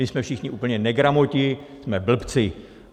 My jsme všichni úplní negramoti, jsme blbci.